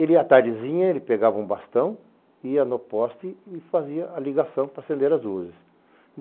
Ele, à tardezinha, ele pegava um bastão, ia no poste e fazia a ligação para acender as luzes.